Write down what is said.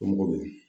Dɔnko